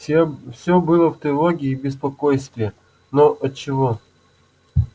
все всё было в тревоге и в беспокойстве но отчего